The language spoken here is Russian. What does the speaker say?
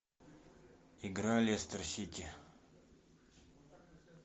игра лестер сити